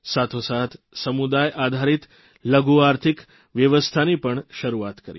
સાથોસાથ સમુદાય આધારીત લઘુ આર્થિક વ્યવસ્થાની પણ શરૂઆત કરી